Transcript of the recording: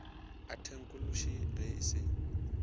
a theknolotši ge e se